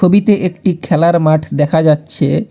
ছবিতে একটি খেলার মাঠ দেখা যাচ্ছে।